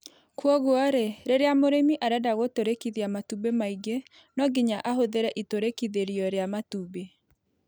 Kwoguo-rĩ, rĩrĩa mũrĩmi arenda gũtũrĩkithia matumbĩ maingĩ no nginya ahũthĩre itũrĩkithĩrio rĩa matumbĩ.